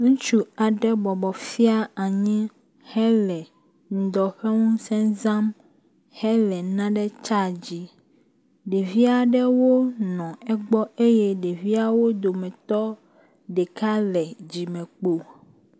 Ŋutsu aɖe bɔbɔb fia nyi hele ŋdɔ ƒe ŋuse zam hele nane tsadzim. Ɖevi aɖewo nɔ egbɔ eye ɖeviawo dometɔt ɖeka le dzimekpo.